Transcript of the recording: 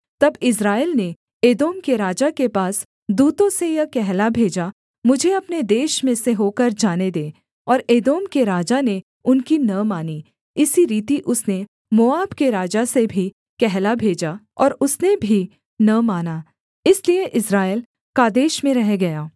तब इस्राएल ने एदोम के राजा के पास दूतों से यह कहला भेजा मुझे अपने देश में से होकर जाने दे और एदोम के राजा ने उनकी न मानी इसी रीति उसने मोआब के राजा से भी कहला भेजा और उसने भी न माना इसलिए इस्राएल कादेश में रह गया